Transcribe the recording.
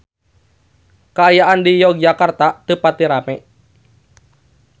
Kaayaan di Yogyakarta teu pati rame